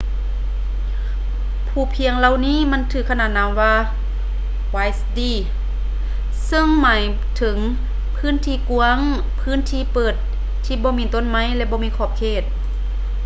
ພູພຽງເຫຼົ່ານີ້ມັກຖືກຂະໜານນາມວ່າ vidde ເຊິ່ງຫມາຍເຖິງພື້ນທີ່ກ້ວາງ ພື້ນທີ່ເປີດທີ່ບໍ່ມີຕົ້ນໄມ້ ແລະ ບໍ່ມີຂອບເຂດ